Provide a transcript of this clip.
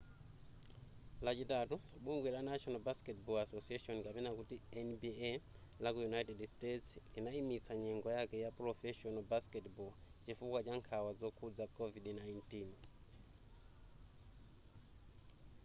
lachitatu bungwe la national basketball association nba laku united states linayimitsa nyengo yake ya professional basketball chifukwa cha nkhawa zokhudza covid-19